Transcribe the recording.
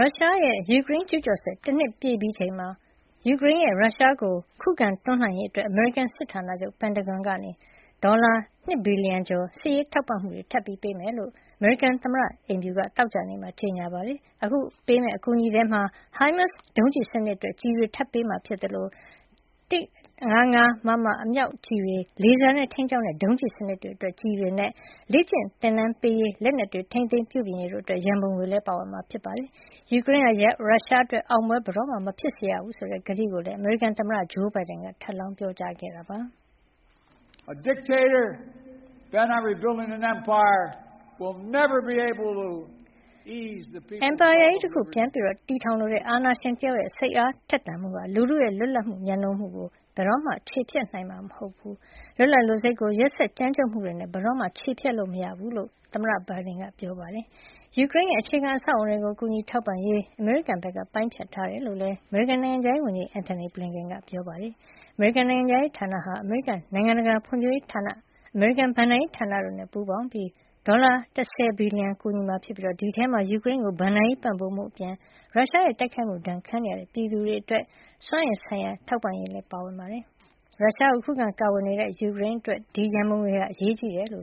ုရှားရဲ့ ယူကရိန်း ကျူးကျော်စစ် တနှစ်ပြည့်ပြီးချိန်မှာ ယူကရိန်းရဲ့ ရုရှားကို ခုခံတွန်းလှန်ရေးအတွက် အမေရိကန် စစ်ဌာနချုပ် Pentagon က ဒေါ်လာ ၂ ဘီလျံကျော် စစ်ရေးထောက်ပံ့မှု ထပ်ပေးမယ့်အကြောင်း အမေရိကန်သမ္မတ အိမ်ဖြူတော်က သောကြာနေ့မှာ ကြေညာပါတယ်။ အခု အကူအညီပေးမယ့် အထဲမှာတော့ HIMARS ဒုံးကျည်စနစ်အတွက် ကျည်တွေ ထပ်ပေးမှာဖြစ်သလို ၁၅၅ မမ အမြောက်ကျည်တွေ၊ လေဆာနဲ့ ထိန်းကျောင်းတဲ့ ဒုံးကျည် စနစ်တွေအတွက် ကျည်တွေနဲ့ လေ့ကျင့်သင်တန်းပေးရေး၊ လက်နက်များ ထိန်းသိမ်း ပြုပြင်ရေးတို့အတွက် ရန်ပုံငွေလည်း ပါဝင်မှာ ဖြစ်ပါတယ်။ ယူကရိန်းဟာ ရုရှားအတွက် အောင်ပွဲ ဘယ်တော့မှ မဖြစ်စေရဘူးဆိုတဲ့ ကတိကဝတ်ကိုလည်း အမေရိကန်သမ္မတ Joe Biden က ထပ်လောင်း ပြောဆိုထားတာပါ။ အင်ပါယာကြီး တခု ပြန်လည်ထူထောင်လိုတဲ့ အာဏာရှင်တယောက်ရဲ့ စိတ်အားထက်သန်မှုဟာ လူထုရဲ့ လွတ်လပ်မှုကို မြတ်နိုးမှုကို ဘယ်တော့မှ ချေဖျက်နိုင်မှာ မဟုတ်ပါဘူး။ လွတ်လပ်လိုစိတ်ကို ရက်စက်ကြမ်းကြုတ်မှုတွေနဲ့ ဘယ်တော့မှ ချေဖျက်လို့ မရပါဘူးလို့လည်း သမ္မတ Biden က ပြောဆိုထားတာပါ။ ယူကရိန်းရဲ့ အခြေခံအဆောက်အအုံတွေကို ကူညီထောက်ပံ့ရေး အမေရိကန်က ပိုင်းဖြတ်ထားတယ်လို့လည်း နိုင်ငံခြားရေးဝန်ကြီး Antony Blinken က ပြောပါတယ်။ အမေရိကန် နိုင်ငံခြားရေးဌာနဟာ အမေရိကန် နိုင်ငံတကာ ဖွံ့ဖြိုးရေးဌာန၊ အမေရိကန် ဘဏ္ဍာရေးဌာနတို့နဲ့ ပူးပေါင်းကာ ဒေါ်လာ ၁၀ ဘီလျံ ကူညီမှာဖြစ်ပြီး ဒီအထဲမှာ ယူကရိန်းကို ဘဏ္ဍာရေး ပံ့ပိုးမှုအပြင် ရုရှားရဲ့ တိုက်ခိုက်မှု ဒဏ်ခံနေရတဲ့ ယူကရိန်း ပြည်သူတွေအတွက် စွမ်းအင်ဆိုင်ရာ ထောက်ပံ့ရေးလည်း ပါဝင်ပါတယ်။ ရုရှားကို ခုခံကာကွယ်နေရတဲ့ ယူကရိန်းအတွက် ဒီ ရန်ပုံငွေတွေက အရေးကြီးသလို